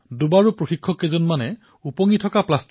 চাওকচোন মিডিয়াত এজন স্কুবা ডাইভাৰৰ কথা পঢ়ি আছিলো